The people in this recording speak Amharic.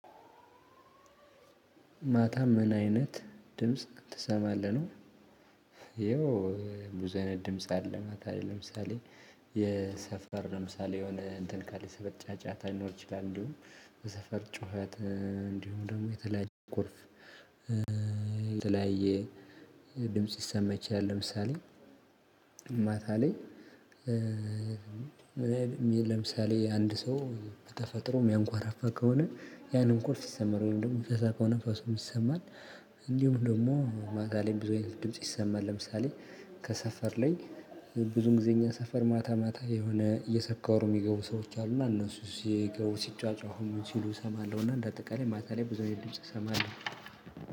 ማታ ምን አይነት ድምጽ ትሰማለህ ነው? የው ብዙ አይነት ድምጽ አለ። ማታ ለይ ለምሳሌ የሰፈር ለምሳሌ የሆነ እንትን ካለ የሰፈር ጫጫታ ሊኖር ይችላል። እንዲሁም በሰፈር ጩኸት እንዲሁም ደግሞ የተለያየ ቁልፍ የተለያየ ድምጽ ሊሰማ ይችልል። ለምሳሌ ማታ ላይ ለምሳሌ አንድ ሰው በተፈጥሮ ሚያንኳራፋ ከሆነ ያንን እንኩፍ ይሰማን ወይም ደግሞ ሚፈሳ ከሆነ ፈሱም ይሰማል። እንዲሁም ደግሞ ማታ ለይ ብዙ አይነት ድምጽ ይሰማል። ለምሳሌ ከሰፈር ላይ ብዙን ጊዜ እኛ ሰፈር ማታ ማታ የሆነ እየሰከሩ የሚገቡ ሰዎች አሉ እና እነሱ ሲገቡ ሲጫጫሁ ምን ሲሉ እሰማለሁ። እና እንደ አጠቃላይ ማታ ላይ ብዙ አይነት እሰማለሁ።